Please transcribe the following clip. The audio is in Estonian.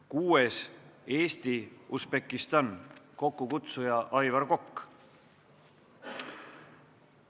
Kuuendaks, Eesti-Usbekistani parlamendirühm, kokkukutsuja on Aivar Kokk.